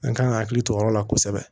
An kan ka hakili to o yɔrɔ la kosɛbɛ